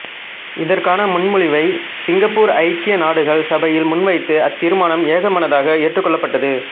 இதற்கான முன்மொழிவை சிங்கப்பூர் ஐக்கிய நாடுகள் சபையில் முன்வைத்து அத்தீர்மானம் ஏகமனதாக ஏற்றுக் கொள்ளப்பட்டது